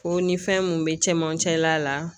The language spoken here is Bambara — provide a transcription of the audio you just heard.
Ko ni fɛn mun be cɛmancɛ la